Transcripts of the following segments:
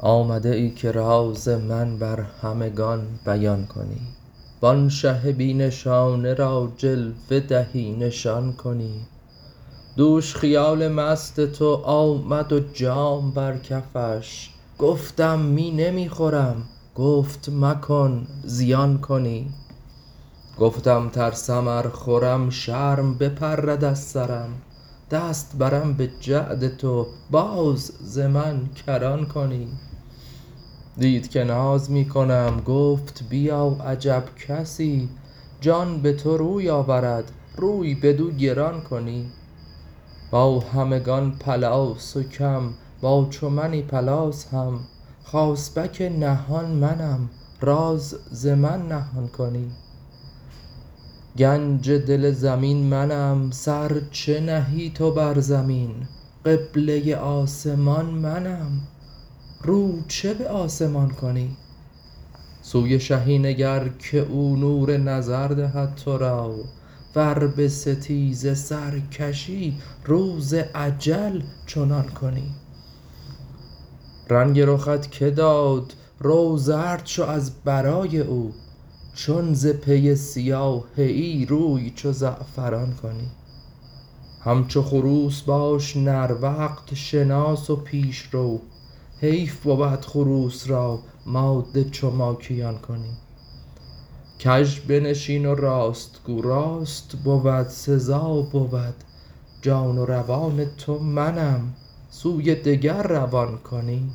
آمده ای که راز من بر همگان بیان کنی و آن شه بی نشانه را جلوه دهی نشان کنی دوش خیال مست تو آمد و جام بر کفش گفتم می نمی خورم گفت مکن زیان کنی گفتم ترسم ار خورم شرم بپرد از سرم دست برم به جعد تو باز ز من کران کنی دید که ناز می کنم گفت بیا عجب کسی جان به تو روی آورد روی بدو گران کنی با همگان پلاس و کم با چو منی پلاس هم خاصبک نهان منم راز ز من نهان کنی گنج دل زمین منم سر چه نهی تو بر زمین قبله آسمان منم رو چه به آسمان کنی سوی شهی نگر که او نور نظر دهد تو را ور به ستیزه سر کشی روز اجل چنان کنی رنگ رخت که داد رو زرد شو از برای او چون ز پی سیاهه ای روی چو زعفران کنی همچو خروس باش نر وقت شناس و پیش رو حیف بود خروس را ماده چو ماکیان کنی کژ بنشین و راست گو راست بود سزا بود جان و روان تو منم سوی دگر روان کنی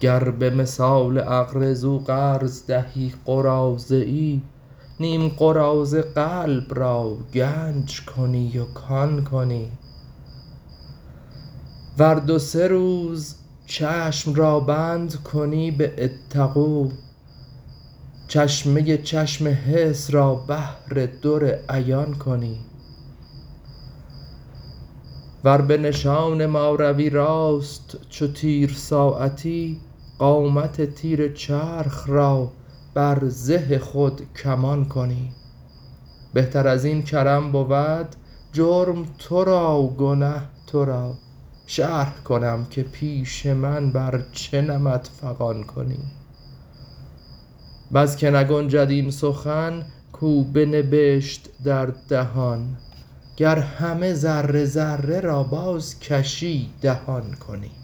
گر به مثال اقرضوا قرض دهی قراضه ای نیم قراضه قلب را گنج کنی و کان کنی ور دو سه روز چشم را بند کنی به اتقوا چشمه چشم حس را بحر در عیان کنی ور به نشان ما روی راست چو تیر ساعتی قامت تیر چرخ را بر زه خود کمان کنی بهتر از این کرم بود جرم تو را گنه تو را شرح کنم که پیش من بر چه نمط فغان کنی بس که نگنجد آن سخن کو بنبشت در دهان گر همه ذره ذره را بازکشی دهان کنی